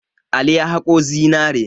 Ali ya haƙo zinare.